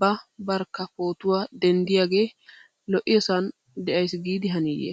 ba barkka pootuwa denttiyaagee lo'osan de'ays giidi haniiye.